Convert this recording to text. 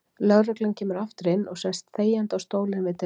Lögreglan kemur aftur inn og sest þegjandi á stólinn við dyrnar.